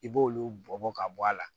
I b'olu bɔ bɔ ka bɔ a la